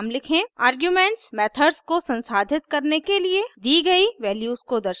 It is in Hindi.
आर्ग्यूमेंट्स मेथड्स को संसाधित करने के लिए दी गयी वैल्यूज को दर्शाता है